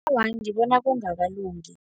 Awa, ngibona kungakalungi.